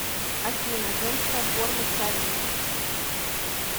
афина женская форма цари